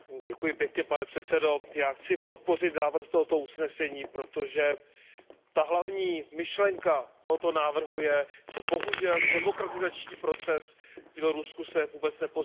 Pane předsedající, já chci podpořit návrh tohoto usnesení, protože ta hlavní myšlenka tohoto návrhu je, že bohužel demokratizační proces v Bělorusku se vůbec neposouvá.